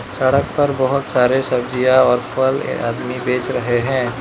सड़क पर बहुत सारे सब्जियां और फल ये आदमी बेच रहे हैं।